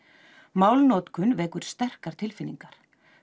málnotkun vekur sterkar tilfinningar